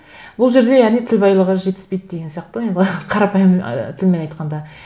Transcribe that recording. бұл жерде яғни тіл байлығы жетіспейді деген сияқты ғой енді қарапайым ы тілмен айтқанда